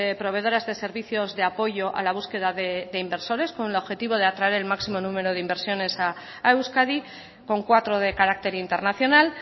proveedoras de servicios de apoyo a la búsqueda de inversores con el objetivo de atraer el máximo número de inversiones a euskadi con cuatro de carácter internacional